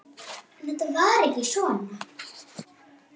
En þetta var ekki svona.